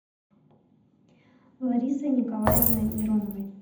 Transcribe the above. ларисой николаевной мироновой